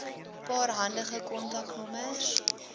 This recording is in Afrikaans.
paar handige kontaknommers